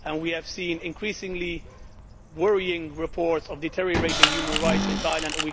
We have seen increasingly worrying reports of deteriorating human rights in Thailand.